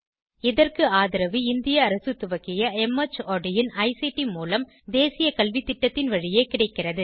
இதற்கு ஆதரவு இந்திய அரசு துவக்கிய மார்ட் இன் ஐசிடி மூலம் தேசிய கல்வித்திட்டத்தின் வழியே கிடைக்கிறது